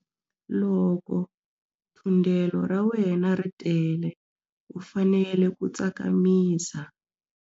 Loko thundelo ra wena ri tele u fanele ku tsakamisa.